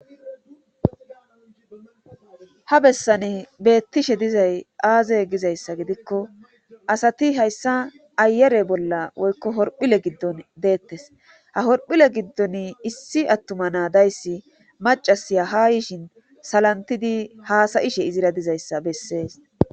ha bessani beettishe dizay aaze gizayssa gidikko asati hayssa ayare bolla woykko horphile giddon deettes ha horphile giddon issi attuma naa dayssi macasiya ha yiishin salantidi haasayishe izira dizayssa bessees